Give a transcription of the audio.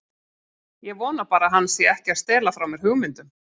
Ég vona bara að hann sé ekki að stela frá mér hugmyndum.